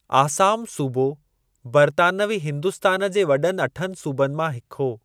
आसाम सूबो बर्तानवी हिन्दुस्तान जे वॾनि अठनि सूबनि मां हिकु हो।